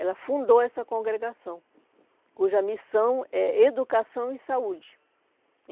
Ela fundou essa congregação, cuja missão é educação e saúde.